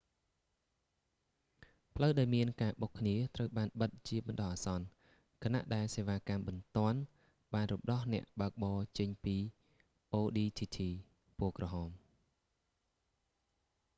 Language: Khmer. ផ្លូវដែលមានការបុកគ្នាត្រូវបានបិទជាបណ្តោះអាសន្នខណៈដែលសេវ៉ាកម្មបន្ទាន់បានរំដោះអ្នកបើកបរចេញពីអូឌីធីធីaudi tt ពណ៌ក្រហម។